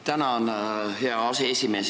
Tänan, hea aseesimees!